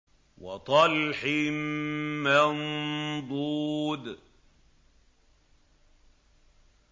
وَطَلْحٍ مَّنضُودٍ